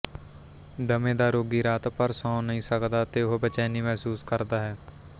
ਦਮੇ ਦਾ ਰੋਗੀ ਰਾਤ ਭਰ ਸੌਂ ਨਹੀਂ ਸਕਦਾ ਅਤੇ ਉਹ ਬੇਚੈਨੀ ਮਹਿਸੂਸ ਕਰਦਾ ਹੈ